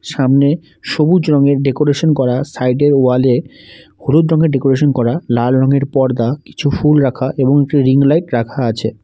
সামনে সবুজ রঙের ডেকোরেশন করা সাইডের ওয়ালে হলুদ রঙের ডেকোরেশন করা লাল রংয়ের পর্দা কিছু ফুল রাখা এবং একটি রিং লাইট রাখা আছে।